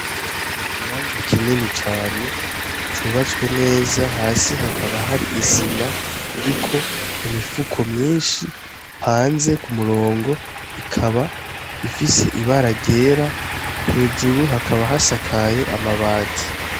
Ikibanza kinini cane c'ubatswe neza hasi hakaba hari isima iriko imifuko myishi hanze k'umurongo ikaba ifise ibara ryera hejuru hakaba hasakaye amabati.